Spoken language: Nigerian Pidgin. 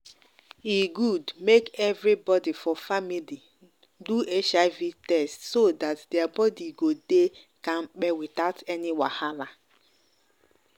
e good make everybody for family do hiv test so that their body go dey kampe without any wahala.